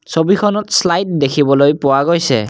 ছবিখনত শ্লাইড দেখিবলৈ পোৱা গৈছে।